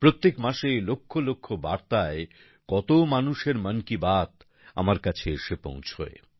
প্রত্যেক মাসে লক্ষ লক্ষ বার্তায় কত মানুষের মন কি বাত আমার কাছে এসে পৌঁছয়